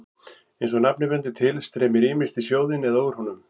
Eins og nafnið bendir til streymir ýmist í sjóðinn eða úr honum.